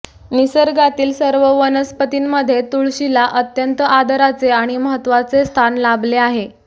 निसर्गातील सर्व वनस्पतींमध्ये तुळशीला अत्यंत आदराचे आणि महत्त्वाचे स्थान लाभले आहे